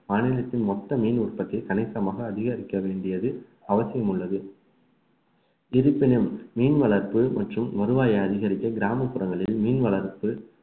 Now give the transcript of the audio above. மாநிலத்தின் மொத்த மீன் உற்பத்தி அனைத்துமாக அதிகரிக்க வேண்டியது அவசியம் உள்ளது இருப்பினும் மீன் வளர்ப்பு மற்றும் வருவாயை அதிகரிக்க கிராமப்புறங்களில் மீன் வளர்ப்பு